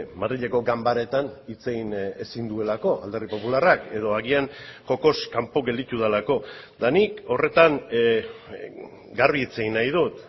madrileko ganbaretan hitz egin ezin duelako alderdi popularrak edo agian jokoz kanpo gelditu delako eta nik horretan garbi hitz egin nahi dut